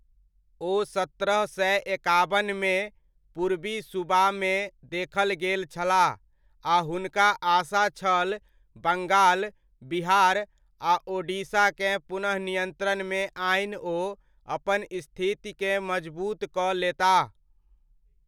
ओ सत्रह सए एकाबनमे, पूर्वी सूबामे देखल गेल छलाह आ हुनका आशा छल बंगाल, बिहार आ ओडिशाकेँ पुनः नियन्त्रणमे आनि ओ अपन स्थितिकेँ मजबूत कऽ लेताह।